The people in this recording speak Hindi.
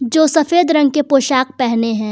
जो सफेद रंग के पोशाक पहने हैं।